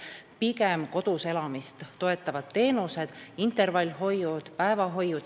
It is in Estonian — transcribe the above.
Soodustame pigem kodus elamist toetavaid teenuseid: intervallhoidu ja päevahoidu.